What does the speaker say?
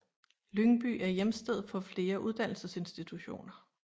Lyngby er hjemsted for flere uddannelsesinstitutioner